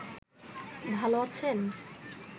ভাল আছেন